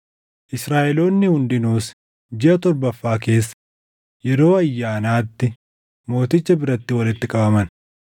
Israaʼeloonni hundinuus jiʼa torbaffaa keessa yeroo ayyaanaatti mooticha biratti walitti qabaman.